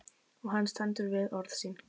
Og hann stendur við orð sín.